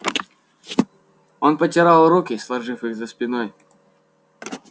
он потирал руки сложив их за спиной